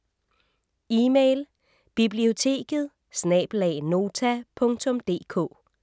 Email: biblioteket@nota.dk